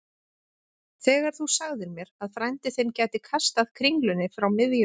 Þegar þú sagðir mér að frændi þinn gæti kastað kringlunni frá miðjum